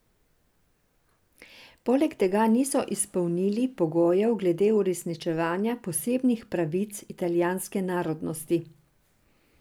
Poleg tega niso izpolnili pogojev glede uresničevanja posebnih pravic italijanske narodnosti.